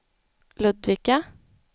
Ludvika